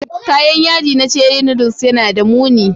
Kayan yaji na ceri noodles yana da muni